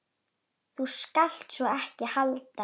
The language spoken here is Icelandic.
Þú skalt sko ekki halda.